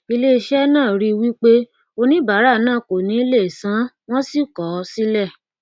iléiṣẹ náà rí i wípé oníbàárà náà kò ní lè sanwọn sì kọ ọ sílẹ